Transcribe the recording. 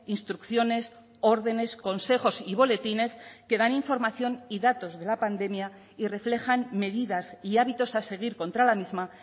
instrucciones órdenes consejos y boletines que dan información y datos de la pandemia y reflejan medidas y hábitos a seguir contra la misma